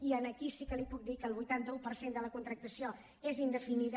i aquí sí que li puc dir que el vuitanta un per cent de la contractació és indefinida